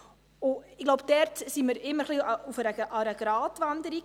– Ich glaube, dort sind wir immer ein wenig auf einer Gratwanderung.